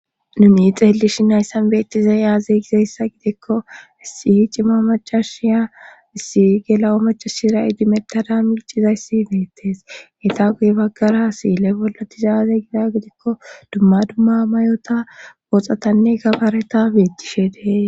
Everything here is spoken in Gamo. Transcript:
Numi xeelishi nayssan beettize yaaze gizayssa gidekko issihi cima macashiya issi gela'o macashira idimettada milcizayssi imeettees eta guye baggara siile bollatizaaze gida gidikko dumma dumma mayota booxatanne kabareta beetishe dee